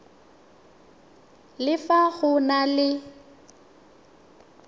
le fa go na le